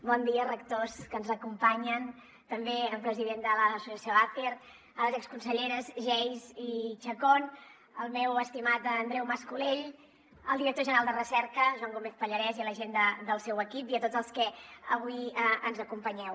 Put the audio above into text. bon dia rectors que ens acompanyen també el president de l’associació acer les exconselleres geis i chacón el meu estimat andreu mas colell el director general de recerca joan gómez pallarès i la gent del seu equip i a tots els que avui ens acompanyeu